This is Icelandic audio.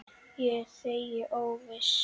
Ég þegi óviss.